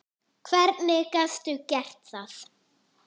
Hvernig gastu gert það?!